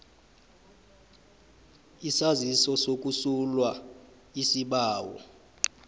isaziso sokusulwa isibawo